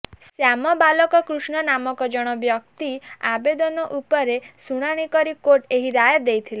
ଶ୍ୟାମ ବାଲକକୃଷ୍ଣନ ନାମକ ଜଣେ ବ୍ୟକ୍ତିଙ୍କ ଆବେଦନ ଉପରେ ଶୁଣାଣି କରି କୋର୍ଟ ଏହି ରାୟ ଦେଇଥିଲେ